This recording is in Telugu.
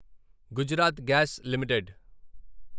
Gujarat Gas limited